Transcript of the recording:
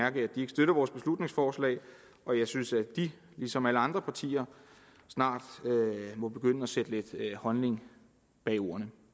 at de ikke støtter vores beslutningsforslag og jeg synes at de ligesom alle andre partier snart må begynde at sætte lidt handling bag ordene